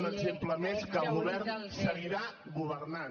un exemple més que el govern seguirà governant